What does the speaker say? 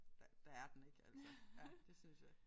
Der der er den ik altså. Ja det synes jeg